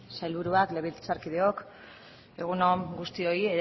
sailburuak legebiltzarkideok egun on guztioi